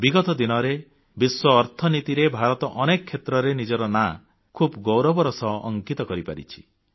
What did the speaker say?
ବିଗତ ଦିନରେ ବିଶ୍ୱ ଅର୍ଥନୀତିରେ ଭାରତ ଅନେକ କ୍ଷେତ୍ରରେ ନିଜର ନାଁ ଖୁବ୍ ଗୌରବର ସହ ଅଙ୍କିତ କରିପାରିଛି